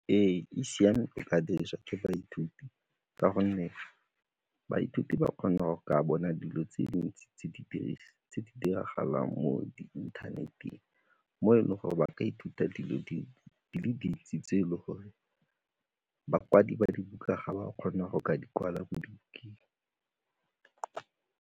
Ee, e siame go ka dirisa ke baithuti ka gonne baithuti ba kgona go ka bona dilo tse di ntsi tse di diragalang mo internet-eng mo e leng gore ba ka ithuta dilo di le dintsi tse e le gore bakwadi ba dibuka ga ba kgona go ka di kwala mo dibukeng.